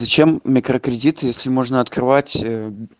зачем микрокредиты если можно открывать а